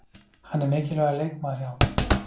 Hann er mikilvægur leikmaður hjá okkur.